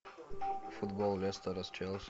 футбол лестера с челси